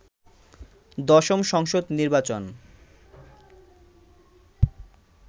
দশম সংসদ নির্বাচন